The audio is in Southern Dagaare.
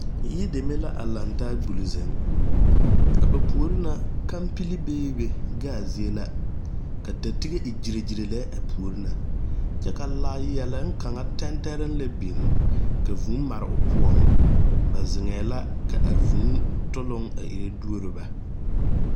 Yideme la a laŋ taa a gbuli zeŋ a ba puori na kampili beebe gaazie la ka datige e gyire gyire lɛ a puori na kyɛ ka laayɛloŋ kaŋa tɛntɛrɛŋ lɛ biŋ ka vūū mare o poɔŋ ba zeŋɛɛ la k,a vūū toloŋ ire duoro ba.